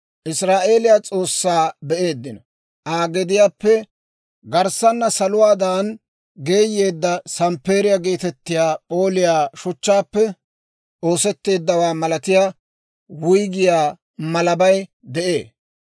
Israa'eeliyaa S'oossaa be'eeddino; Aa gediyaappe garssana saluwaadan geeyeedda samppeeriyaa geetettiyaa p'ooliyaa shuchchaappe oosetteeddawaa malatiyaa wuyggiyaa malabay de'ee.